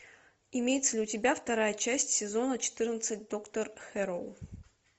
имеется ли у тебя вторая часть сезона четырнадцать доктор хэрроу